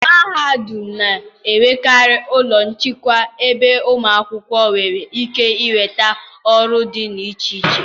mahadum na-enwekarị ụlọ nchịkwa ebe ụmụ akwụkwọ nwere ike ịnweta ọrụ dị iche iche.